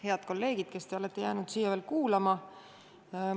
Head kolleegid, kes te olete veel jäänud siia kuulama!